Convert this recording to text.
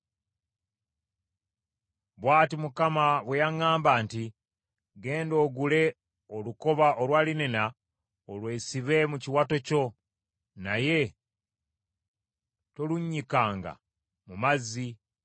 Bw’ati Mukama bwe yaŋŋamba nti, “Genda ogule olukoba olwa linena olwesibe mu kiwato kyo, naye tolunnyikanga mu mazzi.”